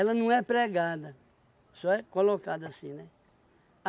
não é pregada, só é colocada assim, né?